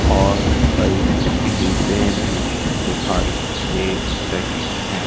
और कहीं जीपे भी दिखाई दे रही है।